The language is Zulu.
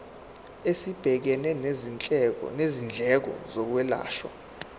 esibhekene nezindleko zokwelashwa